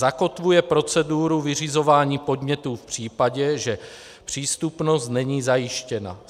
Zakotvuje proceduru vyřizování podnětů v případě, že přístupnost není zajištěna.